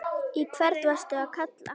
Í hvern varstu að kalla?